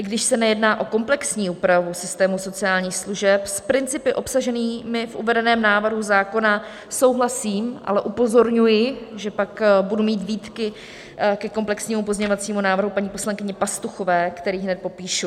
I když se nejedná o komplexní úpravu systému sociálních služeb, s principy obsaženými v uvedeném návrhu zákona souhlasím, ale upozorňuji, že pak budu mít výtky ke komplexnímu pozměňovacímu návrhu paní poslankyně Pastuchové, který hned popíšu.